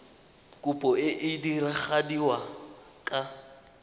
kopo e e diragadiwa ka